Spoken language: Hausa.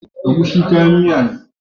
Agushi kayan miya ne.